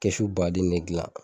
Kɛsu baden ne gilan